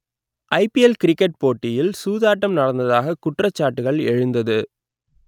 ஐ P L cricket போட்டியில் சூதாட்டம் நடந்ததாக குற்றச்சாட்டுகள் எழுந்தது